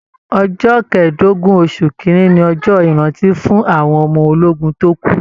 Ọjọ kẹdogun oṣù kínní ní ọjọ ìrántí fún àwọn ọmọ ológun tó kú.